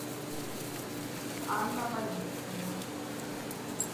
анна бабицкая